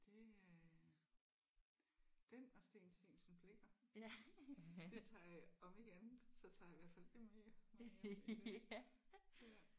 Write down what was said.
Det øh den og Steen Steensen Blicher. Det tager jeg om ikke andet så tager jeg i hvert fald det med hjem når jeg